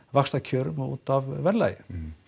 vaxtakjörum og útaf verðlagi